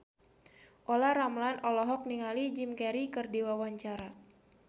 Olla Ramlan olohok ningali Jim Carey keur diwawancara